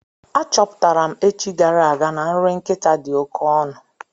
A chọpụtara m echi gara aga na nri nkịta dị oké ọnụ.